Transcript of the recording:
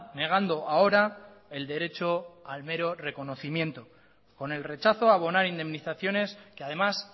negando ahora el derecho al mero reconocimiento con el rechazo a abonar indemnizaciones que además